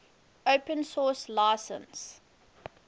open source license